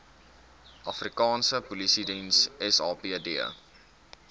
afrikaanse polisiediens sapd